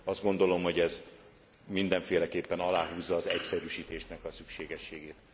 Azt gondolom, hogy ez mindenféleképpen aláhúzza az egyszerűsítésnek a szükségességét.